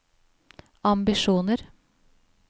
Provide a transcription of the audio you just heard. ambisjoner